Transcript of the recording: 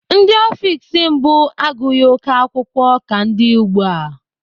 Ndị ọfiks mbụ agụghị oké akwụkwọ ka ndị ugbu a.